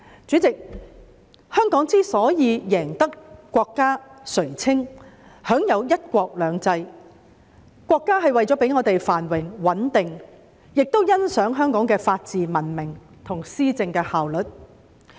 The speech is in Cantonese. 主席，香港之所以贏得國家垂青，享有"一國兩制"，國家是為了讓香港繁榮穩定，亦欣賞香港的法治文明及施政的效率。